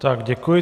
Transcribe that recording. Tak děkuji.